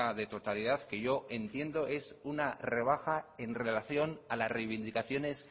de totalidad que yo entiendo es una rebaja en relación a las reivindicaciones